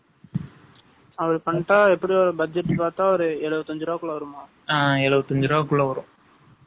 அப்படி பண்ணிட்டா, எப்படியும் ஒரு budget பார்த்தா, ஒரு எழுபத்தி அஞ்சு ரூபாய்க்குள்ள வருமாம்.